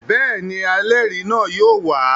Bẹ́ẹ̀ ni, ẹlẹ́rìí náà yóò wà á.